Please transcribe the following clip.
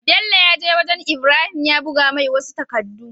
Bello yaje wajan ibrahim ya buga mai wasu takadu